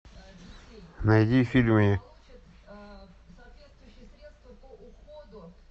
найди фильмы